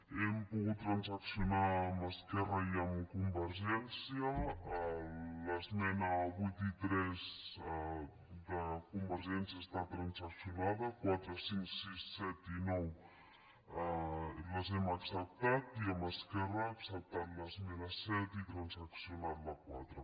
hem pogut transaccionar amb esquerra i amb convergència les esmenes vuit i tres de convergència han estat transaccionades la quatre cinc sis set i nou les hem acceptat i amb esquerra hem acceptat l’esmena set i transaccionat la quatre